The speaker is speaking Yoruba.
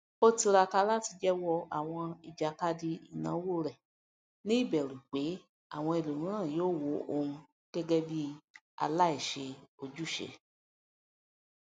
ó tiraka láti jẹwọ àwọn ìjàkadì ìnáwó rẹ ní ìbẹrù pé àwọn ẹlòmíràn yóò wo òun gẹgẹ bí aláìṣe ojúṣe